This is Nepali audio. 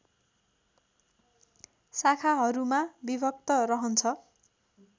शाखाहरूमा विभक्त रहन्छ